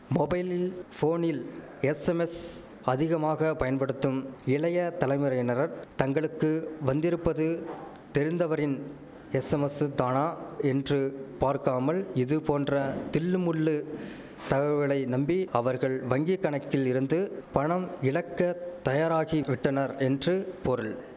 மொபைலில் போனில் எஸ்ஸமெஸ் அதிகமாக பயன்படுத்தும் இளைய தலைமுறையினரர் தங்களுக்கு வந்திருப்பது தெரிந்தவரின் எஸ்ஸமசுத்தானா என்று பார்க்காமல் இதுபோன்ற தில்லுமுல்லு தகவலை நம்பி அவர்கள் வங்கிக்கணக்கில் இருந்து பணம் இழக்க தயாராகி விட்டனர் என்று பொருள்